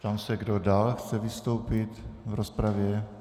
Ptám se, kdo dál chce vystoupit v rozpravě.